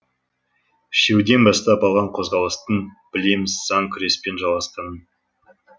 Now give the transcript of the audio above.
үшеуден бастап алған қозғалыстың білеміз сан күреспен жалғасқанын